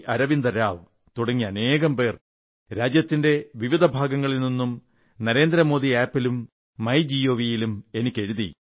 അരവിന്ദ റാവു തുടങ്ങി അനേകം പേർ രാജ്യത്തിന്റെ വിവിധ ഭാഗങ്ങളിൽ നിന്നും നരേന്ദ്ര മേദി ആപ്പിലൂടെയും മൈ ഗവിലൂടെയും എനിക്കെഴുതി